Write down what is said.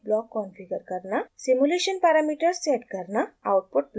simulation parameters set करना output plot save करना